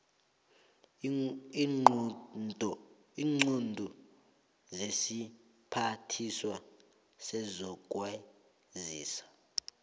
iinqunto zesiphathiswa sezokwazisa